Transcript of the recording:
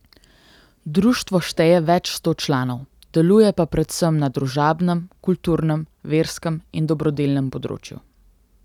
Društvo šteje več sto članov, deluje pa predvsem na družabnem, kulturnem, verskem in dobrodelnem področju.